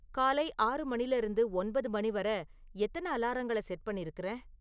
காலை ஆறு மணில இருந்து ஒன்பது மணி வர எத்தன அலாரங்கள செட் பண்ணிருக்குற?